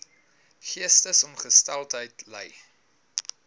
geestesongesteldheid ly